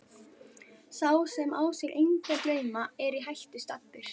Sá sem á sér enga drauma er í hættu staddur.